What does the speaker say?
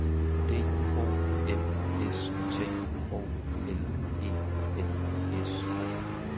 D O M S T O L E N S